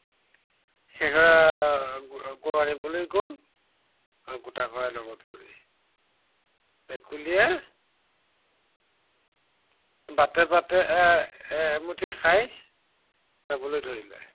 গৰু আনিবলৈ গল আৰু গোটা কড়াই লগত লৈ। ভেকুলীয়ে বাটে বাটে এৰ এমুঠি খাই যাবলৈ ধৰিলে।